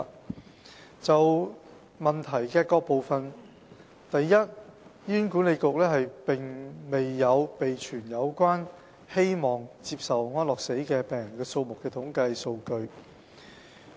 我現就主體質詢各部分答覆如下：一醫院管理局並沒有備存有關希望接受安樂死的病人數目的統計數據。